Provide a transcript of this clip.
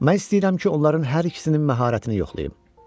Mən istəyirəm ki, onların hər ikisinin məharətini yoxlayım.